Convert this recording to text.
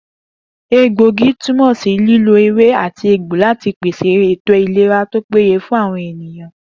Egbòogi túmò̩ sí lílo ewé àti egbò láti pèsè ètò ìlera tó péye fún àwo̩n ènìyàn